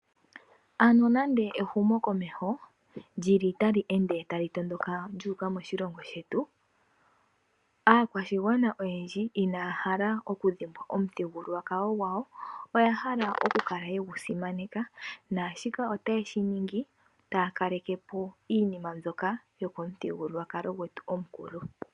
Ano nande ehumo komeho lyili tali ende tali tondoka lyuuka moshilongo shetu aakwashigwana oyendji inaya hala oku dhimbwa omuthigululwakalo gwawo. Oya hala okukala yegusimaneka, naashika otaye shiningi taya kalekepo iinima mbyoka yokomuthigululwakalo gwetu omukulu.